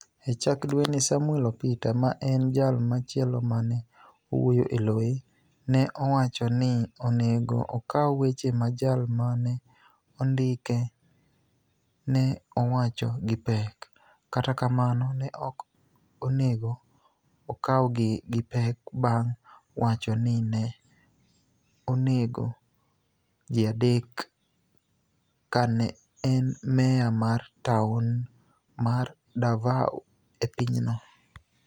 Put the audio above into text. E chak dwenii, Saamwel Opita, ma eni jal machielo ma ni e wuoyo e loye, ni e owacho nii oni ego okaw weche ma jal ma ni e onidike ni e owacho gi pek, kata kamano, ni e ok oni ego okawgi gi pek banig ' wacho nii ni e oni ego ji adek kani e eni meya mar taoni mar Davao e piny no.